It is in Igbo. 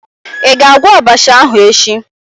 Ị ga-agwọ abacha ahụ echi?